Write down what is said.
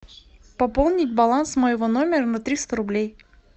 пополнить баланс моего номера на триста рублей